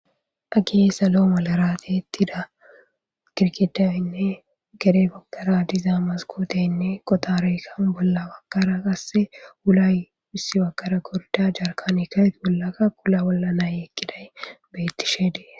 Hagey salo malara ti'etida gidgidaynne gede baggara diza maskoteyinne qoxarey hayssappe bolla baggara qase wulay issi baggara gorda jarkaneyka wula bolla na'i eqqiday beetishe de'es.